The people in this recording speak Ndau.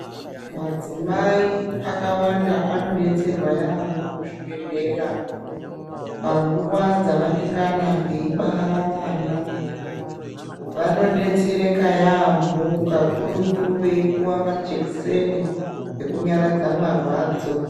Madzimai akawanda anodetserwa yaambo muzvibhedhlera panguwa dzavanengana veibara vana vanodetseraka yaambo kakurutu veipuwa majekiseni ekunyaradza marwadzo.